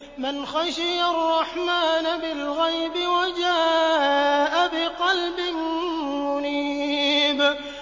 مَّنْ خَشِيَ الرَّحْمَٰنَ بِالْغَيْبِ وَجَاءَ بِقَلْبٍ مُّنِيبٍ